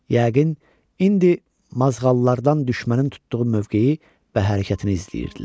Yəqin indi mazğallardan düşmənin tutduğu mövqeyi və hərəkətini izləyirdilər.